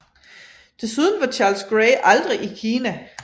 Desuden var Charles Grey aldrig i Kina